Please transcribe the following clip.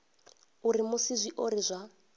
a uri musi zwiori zwa